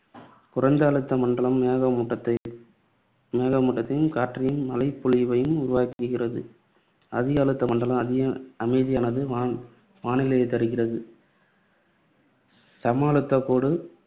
குறைந்த அழுத்த மண்டலம் மேக மூட்டத்தை மூட்டத்தையும், காற்றையும், மழைப் பொழிவையும் உருவாக்குகிறது. அதிக அழுத்த மண்டலம் அதி~ அமைதியான வானி~ வானிலையைத் தருகிறது. சமஅழுத்தக்கோடு